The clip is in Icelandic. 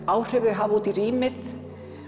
áhrif þau hafa út í rýmið